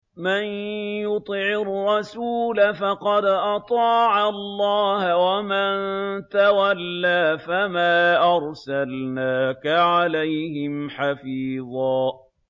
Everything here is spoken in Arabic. مَّن يُطِعِ الرَّسُولَ فَقَدْ أَطَاعَ اللَّهَ ۖ وَمَن تَوَلَّىٰ فَمَا أَرْسَلْنَاكَ عَلَيْهِمْ حَفِيظًا